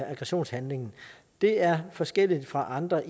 aggressionshandlingen det er forskelligt fra andre